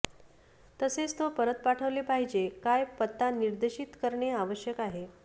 तसेच तो परत पाठवले पाहिजे काय पत्ता निर्देशीत करणे आवश्यक आहे